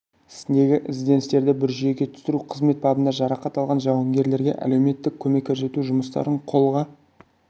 ісіндегі ізденістерді бір жүйеге түсіру қызмет бабында жарақат алған жауынгерлерге әлеуметтік көмек көрсету жұмыстарын қолға